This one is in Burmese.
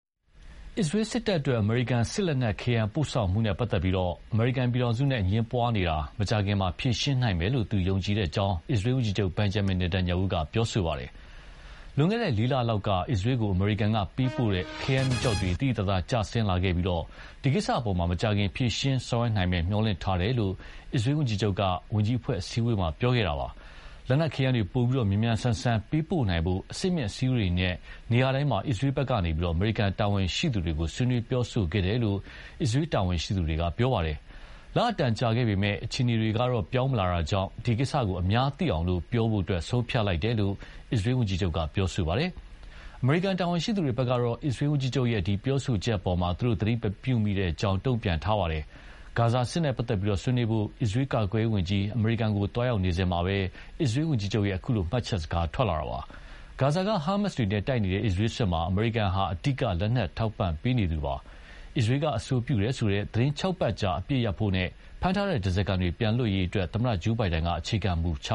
အစ္စရေးစစ်တပ်အတွက် အမေရိကန်စစ်လက်နက်ခဲယမ်းပို့ဆောင်မှုနဲ့ပတ်သက်လို့ အမေရိကန်ပြည်ထောင်စုနဲ့ အငြင်းပွားနေတာကို မကြာခင် ဖြေရှင်းနိုင်မယ် ယုံကြည်တယ်လို့ အစ္စရေးဝန်ကြီးချုပ် Benjamin Netanyahu က ပြောပါတယ်။ လွန်ခဲ့တဲ့လေးလလောက်က အစ္စရေးကို အမေရိကန်ကပေးပို့တဲ့ ခဲယမ်းမီးကျောက်တွေ သိသိသာသာ ကျင်းဆင်းလာခဲ့ပြီး ဒီကိစ္စအပေါ် မကြာခင် ဖြေရှင်းဆောင်ရွက်နိုင်မယ်လို့ မျှော်လင့်ထားကြောင်း အစ္စရေးဝန်ကြီးချုပ်က ဝန်ကြီးအဖွဲ့အစည်းအဝေးမှာ ပြောခဲ့တာပါ။ လက်နက်ခဲယမ်းတွေ ပိုပြီး မြန်မြန်ဆန်ဆန်ပေးပို့နိုင်ဖို့ အဆင့်မြင့်အစည်းအဝေးတွေနဲ့ နေရာတိုင်းမှာ အစ္စရေးဘက်က အမေရိကန်တာဝန်ရှိသူတွေကို ဆွေးနွေးပြောဆိုခဲ့တယ်လို့ အစ္စရေးတာဝန်ရှိသူတွေက ပြောပါတယ်။ လအတန်ကြာခဲ့ပေမယ့် အခြေအနေတွေ ပြောင်းမလာတာကြောင့် ဒီကိစ္စကို အများသိအောင်ပြောဖို့ ဆုံးဖြတ်လိုက်တယ်လို့ အစ္စရေးဝန်ကြီးချုပ်က ပြောပါတယ်။ အမေရိကန်တာဝန်ရှိသူတွေဘက်ကတော့ အစ္စရေးဝန်ကြီးချုပ် ပြောဆိုချက်အပေါ် သူတို့ သတိမပြုမိတဲ့အကြောင်း တုံ့ပြန်ခဲ့ကြပါတယ်။ ဂါဇာစစ်နဲ့ပတ်သက်လို့ ဆွေးနွေးဖို့ အစ္စရေးကာကွယ္ရေးဝန်ကြီး အမေရိကန်ကို သွားနေစဉ်မှာပဲ အစ္စရေးဝန်ကြီးချုပ်ရဲ့ အခု မှတ်ချက်စကားထွက်လာတာပါ။ ဂါဇာက ဟာမတ်စ်တွေနဲ့တိုက်နေတဲ့ အစ္စရေးစစ်မှာ အမေရိကန်ဟာ အဓိက လက်နက်ထောက်ပံ့ပေးနေသူပါ။ ဒါပေမယ့်လို့ အစ္စရေးအဆိုပြုတယ်ဆိုတဲ့ သီတင်းခြောက်ပတ်ကြာ အပစ်ရပ်ဖို့နဲ့ ဖမ်းထားတဲ့ဓါးစားခံတွေ ပြန်လွတ်ရေးအတွက် သမ္မတ Joe Biden က အခြေခံမူချ